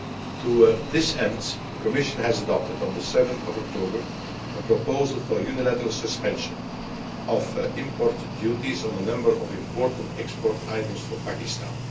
To this end, the Commission adopted on 7 October a proposal for unilateral suspension of import duties on a number of important export items from Pakistan.